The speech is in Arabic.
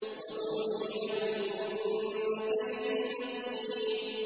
وَأُمْلِي لَهُمْ ۚ إِنَّ كَيْدِي مَتِينٌ